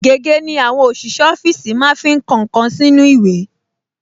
Gègé ni àwọn ọṣìṣẹ́ ọfíìsì máa ń fi kọ nǹkan sínú ìwé